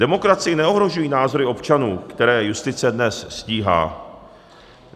Demokracii neohrožují názory občanů, které justice dnes stíhá.